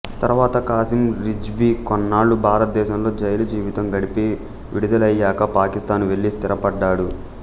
తరువాత ఖాసిం రిజ్వీ కొన్నాళ్ళు భారత దేశంలో జైలు జీవితం గడిపి విడుదలయ్యాక పాకిస్తాను వెళ్ళి స్థిరపడ్డాడు